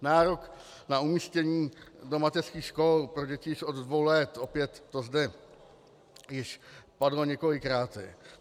Nárok na umístění do mateřských škol pro děti již od dvou let, opět to zde již padlo několikrát.